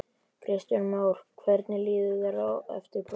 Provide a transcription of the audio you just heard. Kristján Már: Hvernig líður þér eftir prófið?